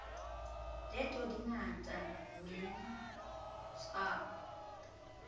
leto di ngata ma tshwao